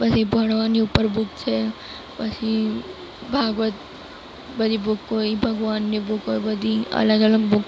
બધી ભણવાની ઉપર બુક છે પછી ભાગવત બધી બુક કોઈ ભગવાનની બુક હોય બધી અલગ-અલગ બુક --